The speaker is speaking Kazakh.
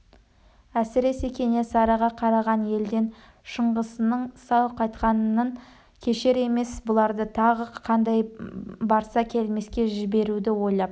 әсіресе кенесарыға қараған елден шыңғысының сау қайтқанын кешер емес бұларды тағы қандай барса келмеске жіберуді ойлап